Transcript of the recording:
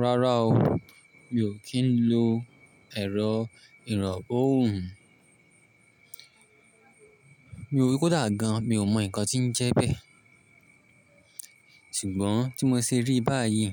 Rárá o, mi ò kí ń lo ẹ̀rọ ìràn òhùn. Kódà gan, mi ò mọ ǹkan tí ń jẹ bẹ. Ṣùgbọ́n tí mo ṣe rí báyìí,